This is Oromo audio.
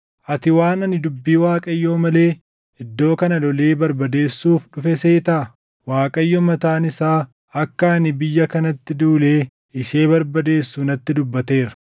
Ati waan ani dubbii Waaqayyoo malee iddoo kana lolee barbadeessuuf dhufe seetaa? Waaqayyo mataan isaa akka ani biyya kanatti duulee ishee barbadeessu natti dubbateera.’ ”